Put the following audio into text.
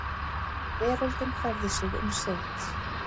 Veröldin færði sig um set.